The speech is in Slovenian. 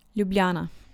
Ljubljana.